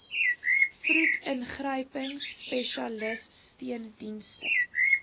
vroed ingryping spesialissteundienste